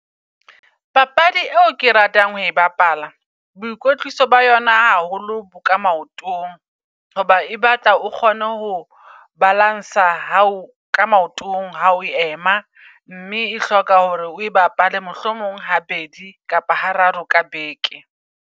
Papadi eo ke ratang ho e bapala boikotliso ba yona haholo boka maotong. Hoba e batla o kgone ho balance-a hao ka maotong ha o ema. Mme e hloka hore oe bapale mohlomong ha bedi kapa ha raro ka beke.